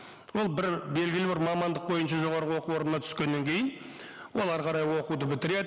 ол бір белгілі бір мамандық бойынша жоғарғы оқу орнына түскеннен кейін ол әрі қарай оқуды бітіреді